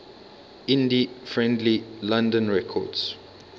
indie friendly london records